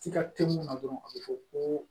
Tiga te mun na dɔrɔn a be fɔ ko